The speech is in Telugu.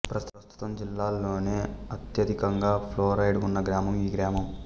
ప్రస్తుతం జిల్లాలోనే అత్యధికంగా ఫ్లోరైడ్ ఉన్న గ్రామం ఈ గ్రామం